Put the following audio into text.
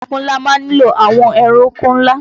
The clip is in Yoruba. Oko ńlá má ń nílò àwọn ẹ̀rọ oko ńlá